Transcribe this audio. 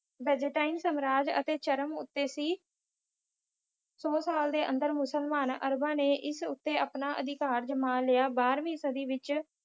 Byzantine ਸਾਮਰਾਜ ਅਤੇ ਚਰਮ ਉੱਤੇ ਸੀ ਸੌ ਸਾਲ ਦੇ ਅੰਦਰ ਮੁਸਲਮਾਨ ਅਰਬਾਂ ਨੇ ਇਸ ਉੱਤੇ ਆਪਣਾ ਅਧਿਕਾਰ ਜਮਾਂ ਲਿਆ। ਬਾਰ੍ਹਵੀਂ ਸਦੀ ਵਿੱਚ